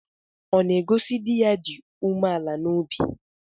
Ọ̀ na-egosi di ya dị umeala n'obi?